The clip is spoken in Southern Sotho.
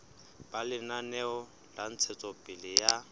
ba lenaneo la ntshetsopele ya